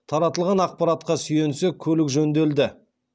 таратылған ақпаратқа сүйенсек көлік жөнделді